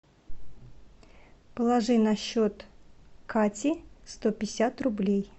положи на счет кати сто пятьдесят рублей